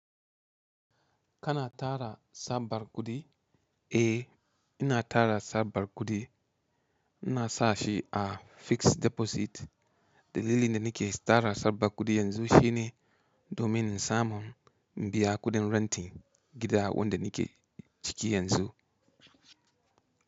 Kana tara Tsabar kuɗi? Eh, ina tara Tsabar kuɗi. Ina sa shi a fixed deposit. Dalilin da nake tara Tsabar kuɗi yanzu shine domin in samu in biya kuɗin renting gida wanda nake ciki yanzu.